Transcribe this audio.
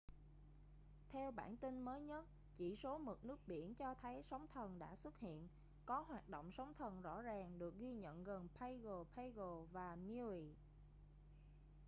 theo bảng tin mới nhất chỉ số mực nước biển cho thấy sóng thần đã xuất hiện có hoạt động sóng thần rõ ràng được ghi nhận gần pago pago và niue